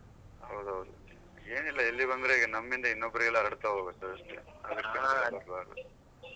ಹೌದು ಹೌದು ಏನ್ ಇಲ್ಲಾ ಇಲ್ಬಂದ್ರೆ ನಮ್ಮಿಂದ ಇನ್ನೊಬ್ರಿಗೆ ಹರಡ್ತಾ ಹೋಗತ್ತೆ ಅಷ್ಟೆ.